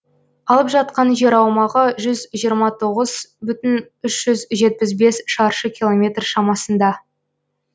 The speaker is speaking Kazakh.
алып жатқан жер аумағы жүз жиырма тоғыз бүтін үш жүз жетпіс бес шаршы километр шамасында